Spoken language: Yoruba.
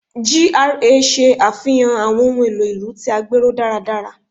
GRA ṣe afihan awọn ohun elo ilu ti a gbero daradara